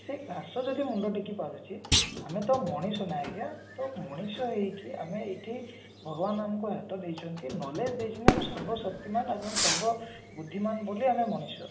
ସେ ଘାସ ଯଦି ମୁଣ୍ଡ ଟେକି ପାରୁଛି ଆମେ ତ ମଣିଷ ନା ଆଜ୍ଞା ତ ମଣିଷ ହେଇକି ଆମେ ଏଠି ଭଗବାନ ଆମକୁ ହାତ ଦେଇଛନ୍ତି knowledge ଦେଇଛନ୍ତି ଆମେ ସର୍ବ ଶକ୍ତିମାନ ଆମେ ସର୍ବ ବୁଦ୍ଧିମାନ ବୋଲି ଆମେ ମଣିଷ